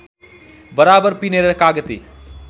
बराबर पिनेर कागती